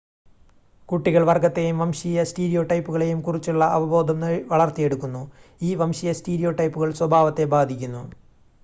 കുട്ടികൾ വർഗ്ഗത്തെയും വംശീയ സ്റ്റീരിയോടൈപ്പുകളെയും കുറിച്ചുള്ള അവബോധം വളർത്തിയെടുക്കുന്നു ഈ വംശീയ സ്റ്റീരിയോടൈപ്പുകൾ സ്വഭാവത്തെ ബാധിക്കുന്നു